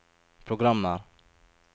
programmer